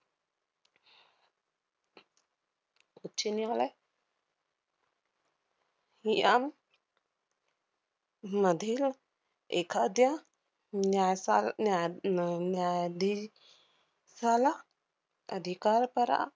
उच्च न्यायालय यां~ मधील एखाद्या न्यासाल~ न्याया~ न~ न्यायाधी~ शाला अधिकार परा~